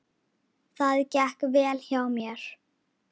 Það gekk vel hjá mér.